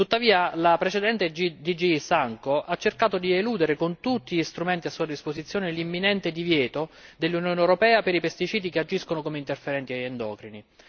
Tuttavia la precedente DG SANCO ha cercato di eludere, con tutti gli strumenti a sua disposizione, l'imminente divieto dell'Unione europea per i pesticidi che agiscono come interferenti endocrini.